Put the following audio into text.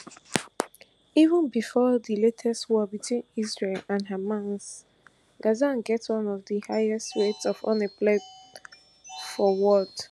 even before di latest war between israel and hamas gaza get one of di highest rate of unemployment for world